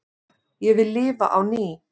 Ég vil lifa á ný